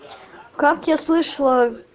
как я слышала